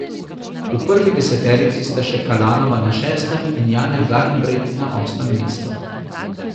V prvi deseterici sta še Kalanova na šestem in Janja Garnbret na osmem mestu.